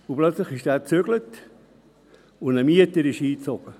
Plötzlich zog er um, und ein Mieter zog ein.